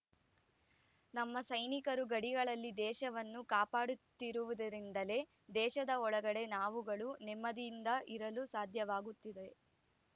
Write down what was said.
ನಮ್ಮ ಸೈನಿಕರು ಗಡಿಗಳಲ್ಲಿ ದೇಶವನ್ನು ಕಾಪಾಡುತ್ತಿರುವುದರಿಂದಲೇ ದೇಶದ ಒಳಗಡೆ ನಾವುಗಳು ನೆಮ್ಮದಿಯಿಂದ ಇರಲು ಸಾಧ್ಯವಾಗುತ್ತಿದೆ